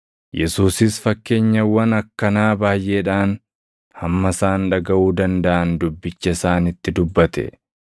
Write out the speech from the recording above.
Yesuusis fakkeenyawwan akkanaa baayʼeedhaan hamma isaan dhagaʼuu dandaʼan dubbicha isaanitti dubbate.